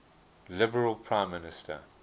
liberal prime minister